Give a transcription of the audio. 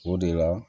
O de la